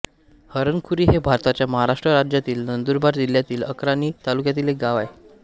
हरणखुरी हे भारताच्या महाराष्ट्र राज्यातील नंदुरबार जिल्ह्यातील अक्राणी तालुक्यातील एक गाव आहे